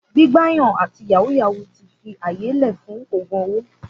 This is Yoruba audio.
Gbígbà yàn àtí yàwú yàwú ti fi àyé lẹ fún ògún òwó.